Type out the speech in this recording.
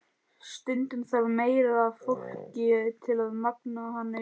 Stundum þarf meira af fólki til að magna hana upp.